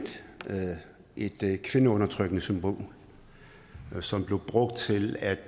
et kvindeundertrykkende symbol som blev brugt til at